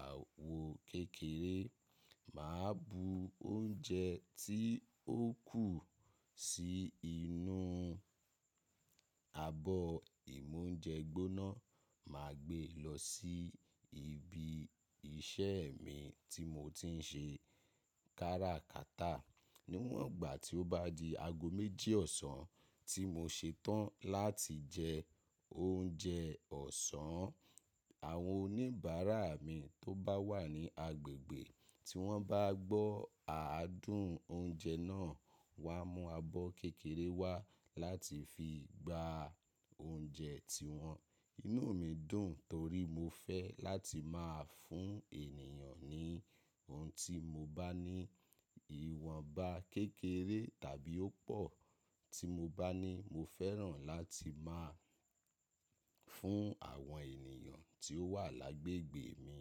àwọ̀ kékeré, mà á bu oúnjẹ tí ó kù sí inú abọ́ ìmúnjẹ gbọ́ná, mà á gbé lọ sí ibi iṣẹ́ mi tí mo ti ń ṣe kárákátà. Níwọn ìgbà tí ó bá di ago méjì ọ̀sán tí mo ṣe tán láti jẹ oúnjẹ ọ̀sán, àwọn oníbàárà mi tó bá wà ní agbègbè, tí wọ́n bá gbọ́ àádúń oúnjẹ náà, wà á mú abọ́ kékeré wá láti fi gbá oúnjẹ tiwọn. Inú mi dùn torí mo fẹ́ láti máa fún ènìyàn ní ohun tí mo bá ní. Iwọn bá kékeré tàbí ó pọ̀, tí mo bá ní, mo fẹ́ràn láti máa fún àwọn ènìyàn tí ó wà lágbègbè mi.